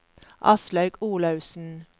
Aslaug Olaussen